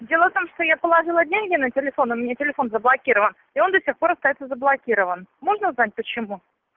дело в том что я положила деньги на телефон у меня телефон заблокирован и он до сих пор остаётся заблокирован можно узнать почему